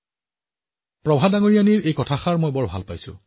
মই প্ৰভাজীৰ কথাবোৰ ভাল পাইছিলো